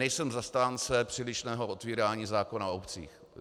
Nejsem zastánce přílišného otevírání zákona o obcích.